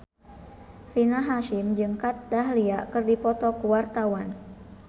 Rina Hasyim jeung Kat Dahlia keur dipoto ku wartawan